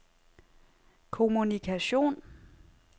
kommunikation